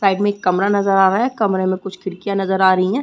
Side में एक कमरा नजर आ रहा है कमरे में कुछ खिड़कियाँ नजर आ रहीं हैं ।